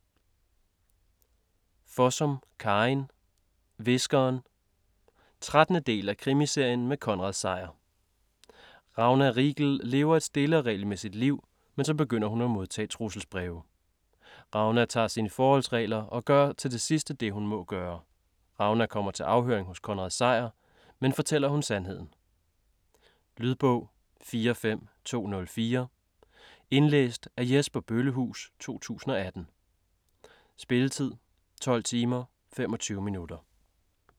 Fossum, Karin: Hviskeren 13. del af Krimiserien med Konrad Sejer. Ragna Riegel lever et stille og regelmæssigt liv, men så begynder hun at modtage trusselsbreve. Ragna tager sine forholdsregler og gør til sidst det, hun må gøre. Ragna kommer til afhøring hos Konrad Sejer, men fortæller hun sandheden? Lydbog 45204 Indlæst af Jesper Bøllehuus, 2018. Spilletid: 12 timer, 25 minutter.